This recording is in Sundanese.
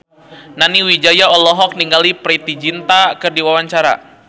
Nani Wijaya olohok ningali Preity Zinta keur diwawancara